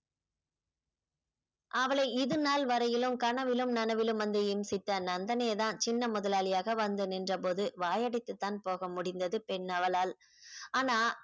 அவளை இது நாள் வரையிலும் கனவிலும் நெனவிலும் வந்த என் சித்த நந்தனே தான் சின்ன முதலாளியாக வந்து நின்றபோது வாயடைத்துதான் போக முடிந்தது பெண் அவளால் ஆனா